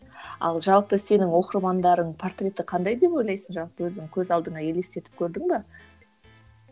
ал жалпы сенің оқырмандарың портреті қандай деп ойлайсың жалпы өзің көз алдыңа елестетіп көрдің бе